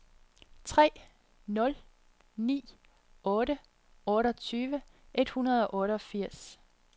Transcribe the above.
tre nul ni otte otteogtyve et hundrede og otteogfirs